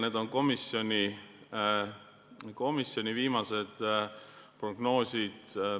Need on komisjoni viimased prognoosid.